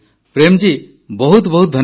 ପ୍ରେମ୍ ଜୀ ବହୁତ ବହୁତ ଧନ୍ୟବାଦ